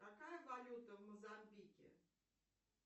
какая валюта в мозамбике